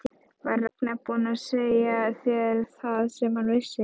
Var Ragnar búinn að segja þér það sem hann vissi?